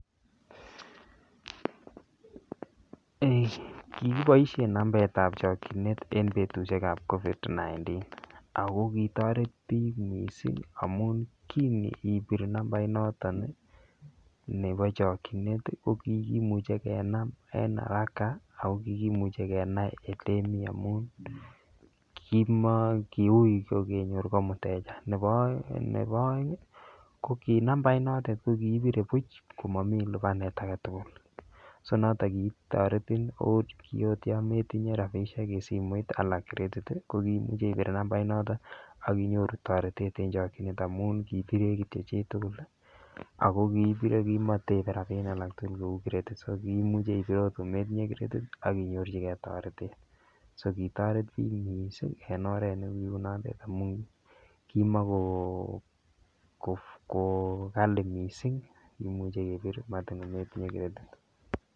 Ei kikiboisien nambetab chokchinet en betusiek ab Covid 19 ako kitoret biik missing amun kinibir nambait noton nebo chokchinet ii ko kikimuche kenam en araka ak kikimuche olemi amun kiui kenyor ko mteja, nebo oeng ii ko ki nambait notet ko kiibire buch komomi libanet agetugul so noton kitoretin ot yometinye rabisiek en simoit ala kretit ii ko kiimuche ibir nambait notet akinyoru toretet en chokchinet amun kiibire kityo chitugul ako kimotebe rabinik alaktugul kou kretit so kimuche ibir ot kometinye kretit akinyorchigen toretet so kitoret biik mising en oret negiunondet amun kimokogali missing kimuche kebir matin kometinye kretit